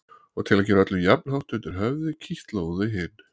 Og til að gera öllum jafnhátt undir höfði kitlaði hún þau hin.